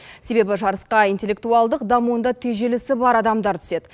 себебі жарысқа интеллектуалдық дамуында тежелісі бар адамдар түседі